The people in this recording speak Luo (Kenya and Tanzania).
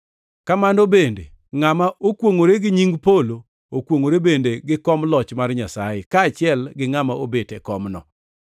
Kamano bende, ngʼama okwongʼore gi nying polo okwongʼore bende gi kom loch mar Nyasaye, kaachiel gi Ngʼama obet e komno.